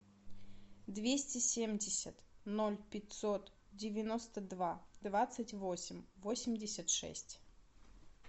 двести семьдесят ноль пятьсот девяносто два двадцать восемь восемьдесят шесть